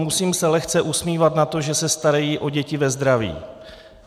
Musím se lehce usmívat nad tím, že se starají o děti ve zdraví.